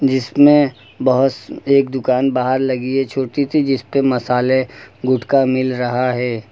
जिसमें बहोत एक दुकान बाहर लगी है छोटी सी जिस पे मसाले गुटखा मिल रहा है।